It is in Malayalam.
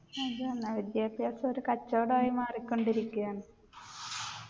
അതെന്നെ വിദ്യാഭ്യാസം ഒരു കച്ചോടായി മാറികൊണ്ടിരിക്കയാണ്